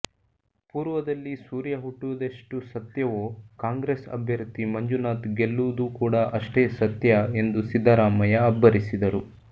ಪೂರ್ವದಲ್ಲಿ ಸೂರ್ಯ ಹುಟ್ಟುವುದೆಷ್ಟು ಸತ್ಯವೋ ಕಾಂಗ್ರೆಸ್ ಅಭ್ಯರ್ಥಿ ಮಂಜುನಾಥ್ ಗೆಲ್ಲುವುದು ಕೂಡಾ ಅಷ್ಟೇ ಸತ್ಯ ಎಂದು ಸಿದ್ದರಾಮಯ್ಯ ಅಬ್ಬರಿಸಿದರು